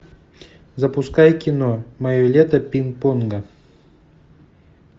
запускай кино мое лето пинг понга